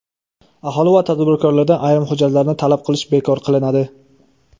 Aholi va tadbirkorlardan ayrim hujjatlarni talab qilish bekor qilinadi.